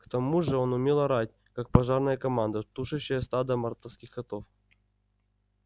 к тому же он умел орать как пожарная команда тушащая стадо мартовских котов